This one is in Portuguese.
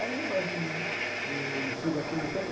Aí falei assim, e se dá tudo certo